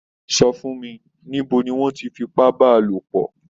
Sọ fún mí, níbo ní wọn tí f'ipa bà a lopọ?